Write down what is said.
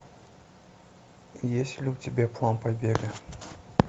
есть ли у тебя план побега